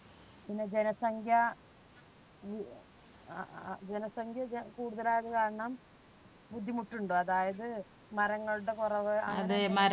പിന്നെ ജനസംഖ്യ അഹ് ജനസംഖ്യ ജ കൂടുതലായത് കാരണം ബുദ്ധിമുട്ടുണ്ടോ. അതായത് മരങ്ങളുടെ കുറവ്